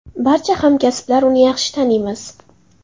Barcha hamkasblar uni yaxshi taniymiz.